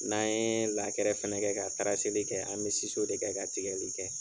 N'an yee lakɛrɛ fɛnɛ kɛ ka li kɛ, an be de kɛ ka tigɛli kɛ.